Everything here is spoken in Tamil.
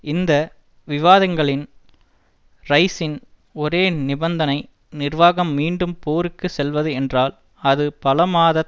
இந்த விவாதங்களின் ரைசின் ஒரே நிபந்தனை நிர்வாகம் மீண்டும் போருக்கு செல்வது என்றால் அது பல மாதத்